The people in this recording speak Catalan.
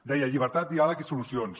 deia llibertat diàleg i solucions